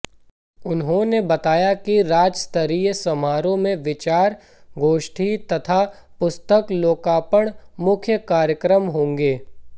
उन्होंने बताया कि राज्यस्तरीय समारोह में विचार गोष्ठी तथा पुस्तक लोकार्पण मुख्य कार्यक्रम होंगे